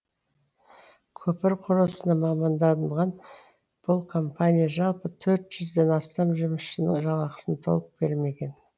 көпір құрылысына маманданған бұл компания жалпы төрт жүзден ден астам жұмысшының жалақысын толық бермеген